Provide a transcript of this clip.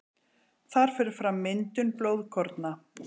Þar fer fram myndun blóðkorna.